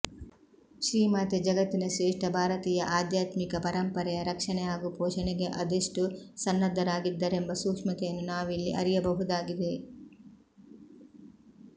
ಶ್ರೀಮಾತೆ ಜಗತ್ತಿನ ಶ್ರೇಷ್ಠ ಭಾರತೀಯ ಆಧ್ಯಾತ್ಮಿಕ ಪರಂಪರೆಯ ರಕ್ಷಣೆ ಹಾಗೂ ಪೋಷಣೆಗೆ ಅದೆಷ್ಟು ಸನ್ನದ್ಧರಾಗಿದ್ದರೆಂಬ ಸೂಕ್ಷ್ಮತೆಯನ್ನು ನಾವಿಲ್ಲಿ ಅರಿಯಬಹುದಾಗಿದೆ